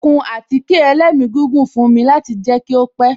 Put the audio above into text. Ó kun àtíkè ẹlẹ́migígùn fún mi láti jẹ kí ó pẹ́